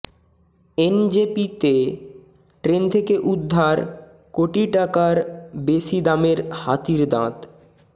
এনজেপিতে train থেকে উদ্ধার কোটি টাকার বেশি দামের হাতির দাঁত